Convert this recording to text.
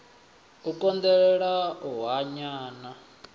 u konḓelela u hanya na